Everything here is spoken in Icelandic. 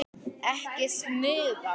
Ekki smuga!